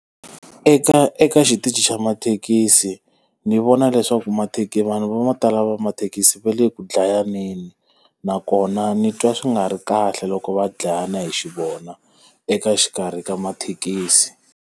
Eka eka xitichi xa mathekisi, ni vona leswaku vanhu vo tala va mathekisi va le ku dlayaneni nakona ni twa swi nga ri kahle loko va dlayana hi xi vona, eka xikarhi ka mathekisi.